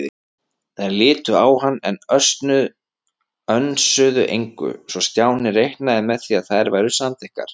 Þær litu á hann, en önsuðu engu, svo Stjáni reiknaði með að þær væru samþykkar.